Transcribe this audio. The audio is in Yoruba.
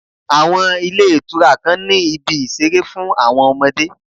Àwọn ilé ìtura kan ni ibi ìṣeré fún àwọn ọmọdé.